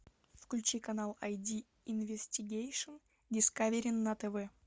включи канал айди инвестигейшн дискавери на тв